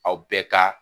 Aw bɛɛ ka